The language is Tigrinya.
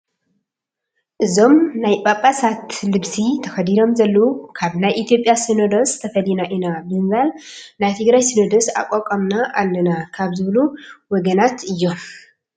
እዞም ናይ ጳጳሳት ልብሲ ተኸዲኖም ዘለዉ ካብ ናይ ኢትዮጵያ ሲነዶስ ተፈሊና ኢና ብምባል ናይ ትግራይ ሲነዶስ ኣቋቒምና ኣለና ካብ ዝበሉ ወገናት እዮም፡፡